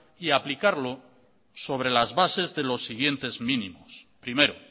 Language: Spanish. y aplicarlo sobre las bases de los siguientes mínimos primero